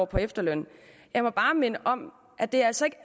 på efterløn jeg må bare minde om at det altså ikke